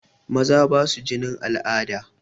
Maza basa jinin al'ada.